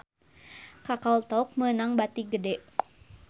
Kakao Talk meunang bati gede